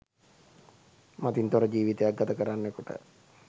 මතින් තොර ජීවිතයක් ගතකරන්නෙකුට